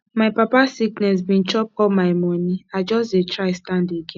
my papa sickness bin chop all my moni i just dey try stand again